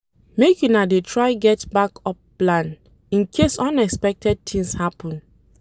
Make una dey try get back-up plan incase unexpected tins happen.